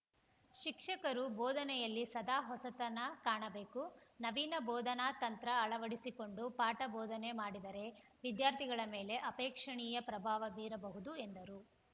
ಶಿಕ್ಷಕರು ಬೋಧನೆಯಲ್ಲಿ ಸದಾ ಹೊಸತನ ಕಾಣಬೇಕು ನವೀನ ಬೋಧನಾತಂತ್ರ ಅಳವಡಿಸಿಕೊಂಡು ಪಾಠ ಬೋಧನೆ ಮಾಡಿದರೆ ವಿದ್ಯಾರ್ಥಿಗಳ ಮೇಲೆ ಆಪೇಕ್ಷಣೀಯ ಪ್ರಭಾವ ಬೀರಬಹುದು ಎಂದರು